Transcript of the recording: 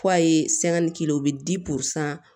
F'a ye k'i la o bɛ